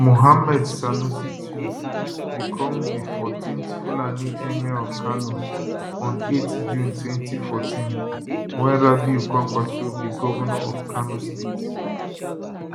muhammad sanusi ii become di 14th fulani emir of kano on 8 june 2014 wen rabiu kwankwaso be govnor of kano state